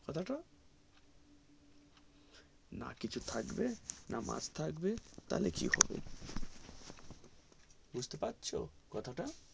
কথা তা না কিছু থাকবে না মাছ থাকবে তালে কি হবে বুঝতে পারছো কথা টা